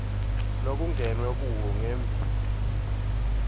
lokungenwe kuwo ngembi